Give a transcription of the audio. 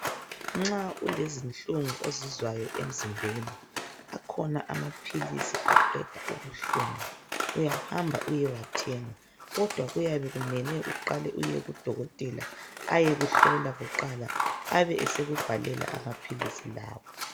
Nxa ulezinhlungu ozizwayo emzimbeni akhona amaphilisi aqeda ubuhlungu uyahamba uyewathenga kodwa kuyabe kumele uqale uyekudokotela ayekuhlola kuqala abeseku bhalela amaphilisi lawa.